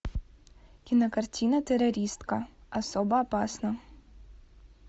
кинокартина террористка особо опасна